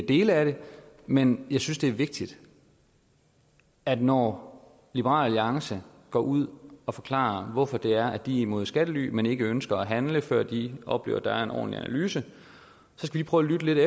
dele af det men jeg synes det er vigtigt at vi når liberal alliance går ud og forklarer hvorfor de er imod skattely men ikke ønsker at handle før de oplever at der er en ordentlig analyse prøver at lytte